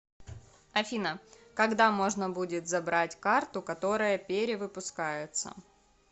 афина когда можно будет забрать карту которая перевыпускается